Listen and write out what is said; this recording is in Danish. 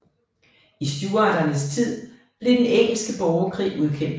I Stuarternes tid blev den engelske borgerkrig udkæmpet